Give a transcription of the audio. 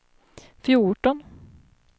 fjorton